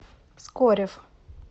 скорев